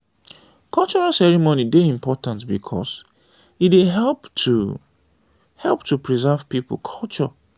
cultural ceremony dey important because e dey help to help to preserve pipo culture